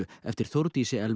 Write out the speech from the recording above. eftir Þórdísi Elvu